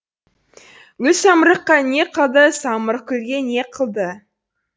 гүл самырыққа не қылды самырық гүлге не қылды